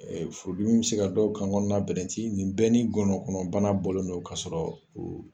Ee Furudimi bi se ka dɔw kan kɔnɔna bɛrɛnti . Nin bɛɛ ni gɔnɔ kɔnɔ bana bɔlen don ka sɔrɔ